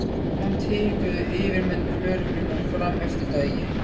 Samt hikuðu yfirmenn lögreglunnar fram eftir degi.